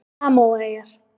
Samóaeyjar